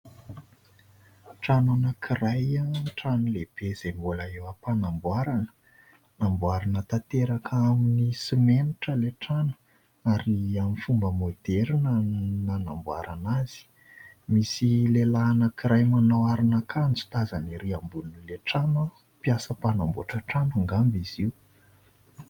Trano anankiray, trano lehibe izay mbola eo am-panamboarana. Namboarina tanteraka amin'ny simenitra ilay trano ary amin'ny fomba moderina no nanamboarana azy. Misy lehilahy anankiray manao aron'akanjo tazana ery ambonin'ilay trano. Mpiasa mpanamboatra trano angamba izy io.